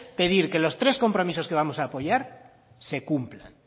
pedir que los tres compromisos que vamos a apoyar se cumplan